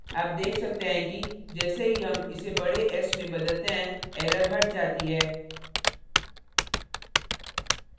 आप देख सकते हैं कि जैसे ही हम इसे बडे s में बदलते हैं error हट जाती है